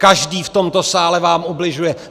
Každý v tomto sále vám ubližuje.